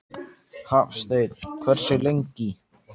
Hafsteinn: Hversu lengi?